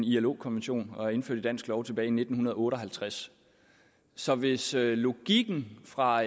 ilo konvention og er indført i dansk lov tilbage i nitten otte og halvtreds så hvis logikken fra